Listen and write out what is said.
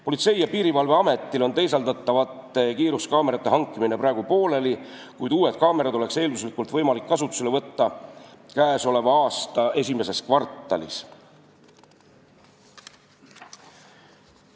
Politsei- ja Piirivalveametil on teisaldatavate kiiruskaamerate hankimine praegu pooleli, kuid uued kaamerad oleks eelduslikult võimalik kasutusele võtta käesoleva aasta esimeses kvartalis.